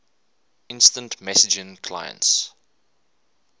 instant messaging clients